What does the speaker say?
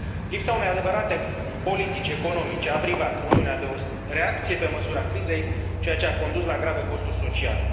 Lipsa unei adevărate politici economice a privat Uniunea de o reacție pe măsura crizei, ceea ce a condus la grave costuri sociale.